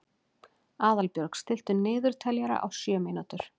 Aðalbjörg, stilltu niðurteljara á sjö mínútur.